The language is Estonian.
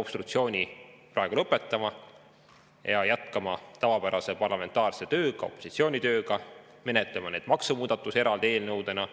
obstruktsiooni praegu lõpetama ja jätkama tavapärase parlamentaarse tööga, opositsiooni tööga ning menetlema neid maksumuudatusi eraldi eelnõudena.